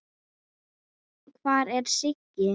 Hvar er Siggi?